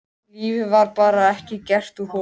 Lífið var bara ekki gert úr honum.